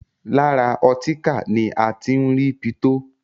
Lára ọtíkà ni a ti ń rí pitó.